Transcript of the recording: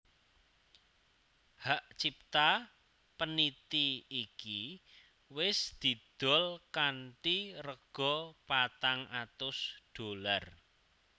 Hak cipta peniti iki wis didol kanthi rega patang atus dolar